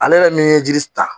Ale yɛrɛ min ye jiri ta